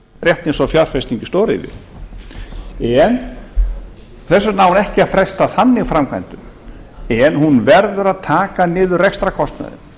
rétt eins og fjárfesting í stóriðju en þess vegna á ekki að fresta þannig framkvæmdum en hún verður að taka niður rekstrarkostnaðinn